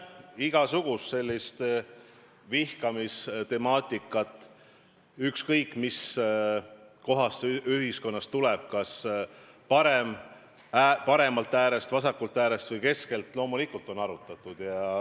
Igasugust vihkamistemaatikat, ükskõik mis kohast see ühiskonnas tuleb, kas paremalt äärest, vasakult äärest või keskelt, on loomulikult arutatud.